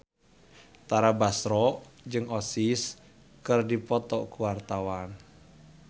Tara Basro jeung Oasis keur dipoto ku wartawan